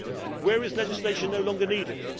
Where is legislation no longer needed?